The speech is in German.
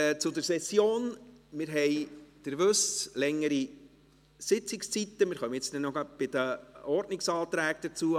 Zur Session: Wir haben, wie Sie wissen, längere Sitzungszeiten, jeden Tag, ausser Donnerstag, bis um 17 Uhr.